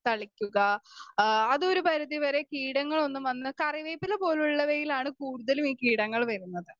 Speaker 2 തളിയ്ക്കുക ആ അതൊരു പരിധിവരെ കീടങ്ങളൊന്നും വന്ന് കറിവേപ്പില പോലുള്ളവയിലാണ് കൂടുതലും ഈ കീടങ്ങള് വരുന്നത്.